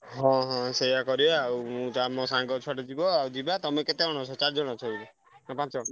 ହଁ ସେୟା କରିଆ ଆଉ ମୁଁ ତ ଆମ ସାଙ୍ଗ ଛୁଆଟେ ଯିବ ଆଉ ଯିବା, ତମେ କେତେ ଜଣ ଅଛ ଚାରିଜଣ ଅଛ ବୋଧେ ନା ପାଞ୍ଚ ଜଣ?